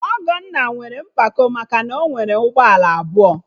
Ọgọnna nwere mpako maka na ọ nwere ụgbọala abụọ